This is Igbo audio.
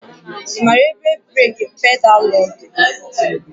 Ị maara ebe breeki pedaalụ dị?